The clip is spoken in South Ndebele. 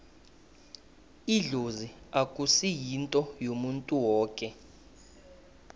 idlozi akusi yinto yomuntu woke